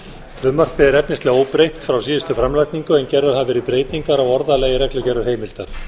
frumvarpið er efnislega óbreytt frá síðustu framlagningu en gerðar hafa verið breytingar á orðalagi reglugerðarheimildar